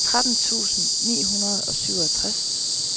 tretten tusind ni hundrede og syvogtres